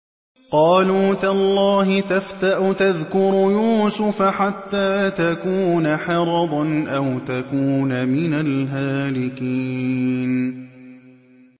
قَالُوا تَاللَّهِ تَفْتَأُ تَذْكُرُ يُوسُفَ حَتَّىٰ تَكُونَ حَرَضًا أَوْ تَكُونَ مِنَ الْهَالِكِينَ